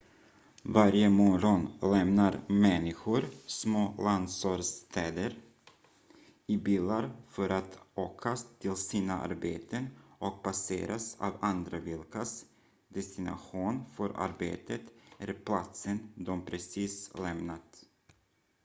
varje morgon lämnar människor små landsortsstäder i bilar för att åka till sina arbeten och passeras av andra vilkas destination för arbetet är platsen de precis lämnat